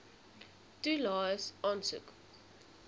toelaes aansoek